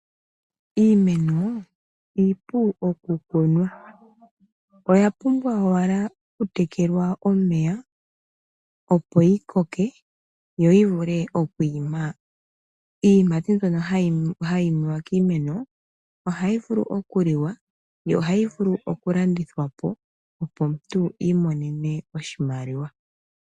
Iimeno iipu oku kunwa oyapumbwa owala oku tekelwa omeya opo yikoka yo oyivule okwima iiyimati mbyono hayimiwa kiimeno ohayi vulu okuliwa yo ohayi vulu oku landithwapo opo omuntu imonene oshimaliwa.